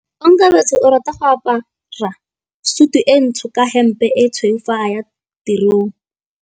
Onkabetse o rata go apara sutu e ntsho ka hempe e tshweu fa a ya tirong.